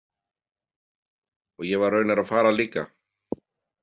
Og ég var raunar að fara líka.